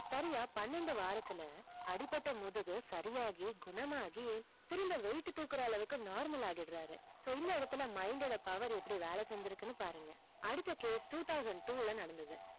சரியா பன்னண்டு வாரத்துல அடிபட்டு முதுகு சரியாகி குணமாகி திரும்ப weight தூக்குற அளவுக்கு normal ஆக்கிறாரு mind ஓட power எப்படி வேல செஞ்சு இருக்கு பாருங்க அடுத்தது two thousand two நடந்தது